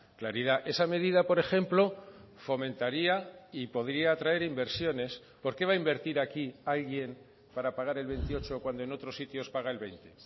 claridad esa medida por ejemplo fomentaría y podría atraer inversiones por qué va a invertir aquí alguien para pagar el veintiocho cuando en otros sitios paga el veinte